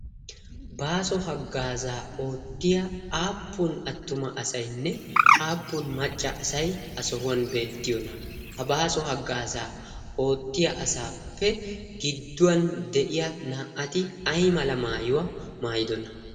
baaso haggaazaa oottiya aappun attuma asainne aappun macca asai ha sohuwan beettiyoona ha baaso haggaasaa oottiya asaappe gidduwan de'iya naa"ati ai mala maayuwaa maayidona?